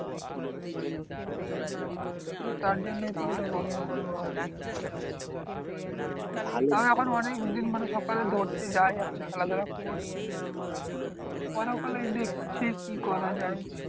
হ্যাঁ তার জন্যই তো ওটা গন্ডগোল হয়। তাও এখন অনেকদিন সকালে দৌড়োতে যাই এখন খেলাধুলা করছি। পরে দেখছি কি করা যায়?